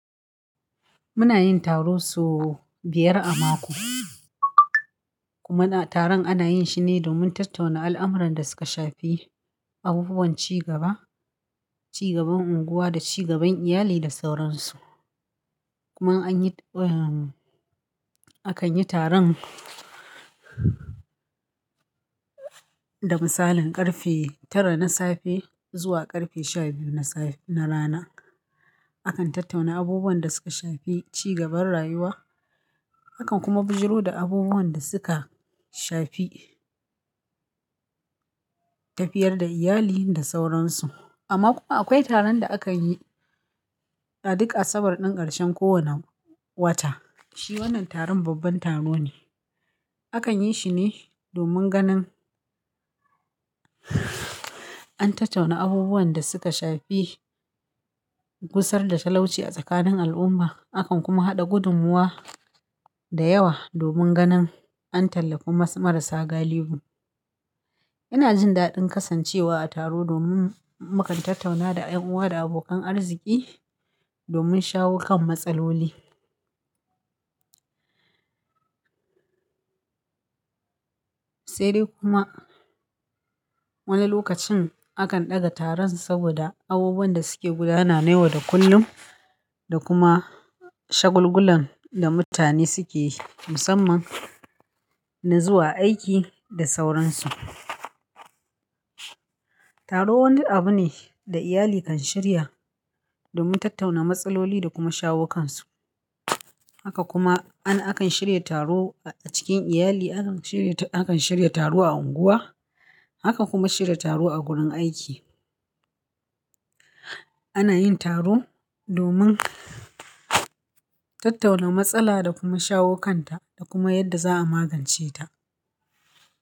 Muna yin taro sau biyar a mako. Kuma taron ana yin shi ne domin tattauna al'amuran da suka shafi abubuwan cigaba, cigaban unguwa da cigaban iyali da sauransu. Kuma anyi, eh akan yi taron da misalin karfe tara na safe zuwa karfe shabiyu na saf, na rana. Akan tattauna abubuwan da suka shafi cigaban rayuwa, akan kuma bijiro da abubuwan da suka shafi tafiyar da iyali da sauransu. Amma kuma akwai taron da akan yi a duk asabar din ƙarshen kowane wata. Shi wannan taron babban taro ne. Akan yi shi ne domin ganin an tattauna abubuwan da suka shafi gusar da talauci a tsakanin al'umma. Akan kuma haɗa gudummuwa da yawa domin ganin an tallafi mas marasa galihu. Ina jin daɗin kasancewa a taro domin mukan tattauna da ƴan uwa da abokan arziki domin shawo kan matsaloli. Sai dai kuma wani lokacin akan ɗaga taron saboda abubuwan da suke gudana na yau da kullum da kuma shagulgulan da mutane suke musamman na zuwa aiki da sauransu. Taro wani abu ne da iyali kan shirya domin tattauna matsaloli da kuma shawo kansu. Haka kuma ana, akan shirya taro a cikin iyali, akan shirya, akan shirya taro a unguwa, akan kuma shirya taro a gurin aiki. Ana yin taro domin tattauna matsala da kuma shawo kan ta da kuma yadda za a magance ta.